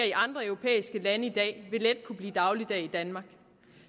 i andre europæiske lande i dag vil let kunne blive dagligdag i danmark